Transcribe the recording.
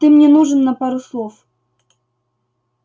ты мне нужен на пару слов